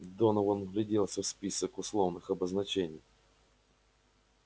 донован вгляделся в список условных обозначений